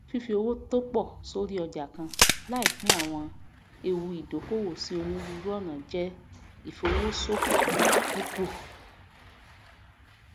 fífí owó tópọ sorí ọjà kan láì pín àwọn ewu ìdókòwò sí onírúurú ọnà jẹ ìfowó sòfò púpù